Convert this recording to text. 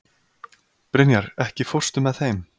Brynjar, ekki fórstu með þeim?